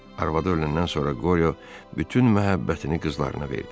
Arvadı öləndən sonra Qoriyo bütün məhəbbətini qızlarına verdi.